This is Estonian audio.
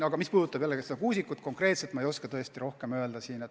Aga mis puudutab Marti Kuusikut, siis midagi konkreetset ma ei oska tõesti öelda.